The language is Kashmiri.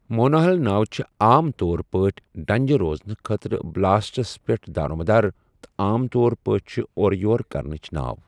مونوہل ناوٕ چھِ عام طور پٲٹھۍ ڈَنٛجہِ روزنہٕ خٲطرٕ بلاسٹس پٮ۪ٹھ دارمدار تہٕ عام طور پٲٹھۍ چھِ اورٕ یور کرنٕچ ناو۔